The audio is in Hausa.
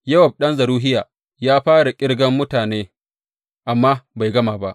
Yowab ɗan Zeruhiya ya fara ƙirgan mutanen amma bai gama ba.